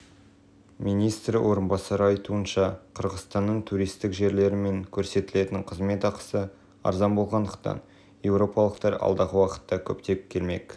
министр орынбасарыныңайтуынша қырғызстанның туристік жерлері мен көрсетілетін қызмет ақысы арзан болғандықтан еуропалықтар алдағы уақытта көптеп келмек